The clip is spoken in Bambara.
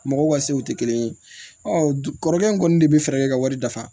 Mɔgɔw ka sew tɛ kelen ye kɔrɔkɛ in kɔni de bɛ fɛɛrɛ kɛ ka wari dafa